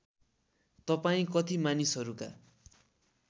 तपाईँ कति मानिसहरूका